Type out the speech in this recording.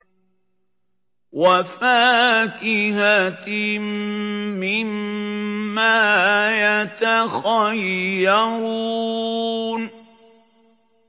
وَفَاكِهَةٍ مِّمَّا يَتَخَيَّرُونَ